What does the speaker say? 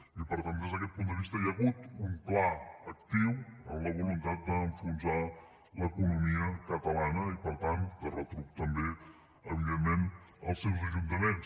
i per tant des d’aquest punt de vista hi ha hagut un pla actiu en la voluntat d’enfonsar l’economia catalana i per tant de retruc també evidentment els seus ajuntaments